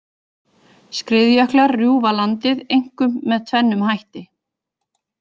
Skriðjöklar rjúfa landið einkum með tvennum hætti.